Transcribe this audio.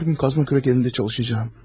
Hər gün qazma kürək əlində çalışacağım.